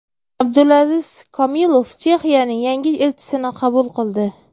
Abdulaziz Komilov Chexiyaning yangi elchisini qabul qildi.